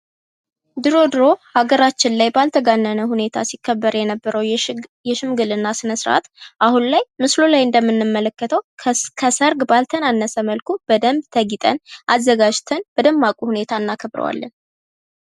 ድሮ ድሮ ሀገራችን ላይ ባልተጋነነ ሁኔታ ሲከበር የነበረው የሽምግልና ስነስርአት አሁን ላይ ምስሉ ላይ እንደምንመለከተው ከሰርግ ባልተናነሰ መልኩ በደንብ ተጊጠን አዘጋጅተን በደማቁ ሁኔታ እናከብረዋለን።